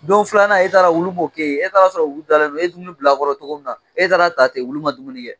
Don filanan e taara wulu moo kɛ ye, e taala sɔrɔ wulu dalen do e dumuni bilakɔrɔ togo min na e taara ta ten wulu ma dumuni kɛ.